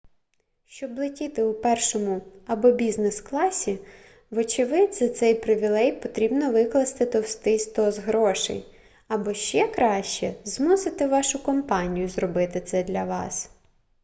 щоб летіти у першому або бізнес-класі вочевидь за цей привілей потрібно викласти товстий стос грошей або ще краще змусити вашу компанію зробити це для вас